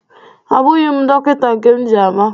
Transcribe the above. Abụghi m dọkịnta nke m ji ama.